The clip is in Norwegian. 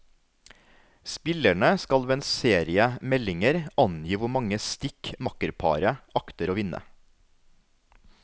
Spillerne skal ved en serie meldinger angi hvor mange stikk makkerparet akter å vinne.